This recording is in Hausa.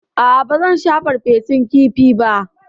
A'a, ba zan sha farfesun kifi ba.